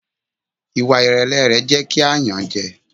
Ìwà ìrẹ̀lẹ̀ rẹ̀ jẹ́ kí a yàn án jẹ.